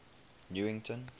newington